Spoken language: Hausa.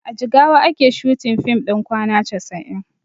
A jigawa ake shooting fim ɗin kwana casa'in